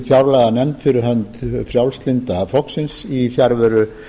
fjárlaganefnd fyrir hönd frjálslynda flokksins í fjarveru